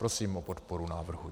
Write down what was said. Prosím o podporu návrhu.